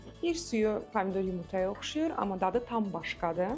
Bir suyu pomidor yumurtaya oxşayır, amma dadı tam başqadır.